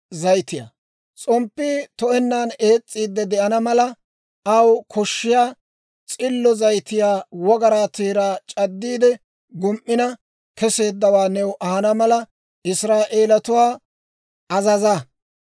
«S'omppii to'ennan ees's'iidde de'ana mala, aw koshshiyaa S'illo zayitiyaa wogaraa teeraa c'addiide gum"ina kesseeddawaa new ahana mala, Israa'eelatuwaa azaza.